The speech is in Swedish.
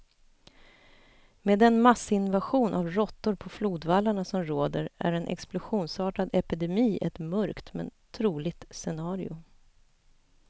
Med den massinvasion av råttor på flodvallarna som råder är en explosionsartad epidemi ett mörkt, men troligt scenario.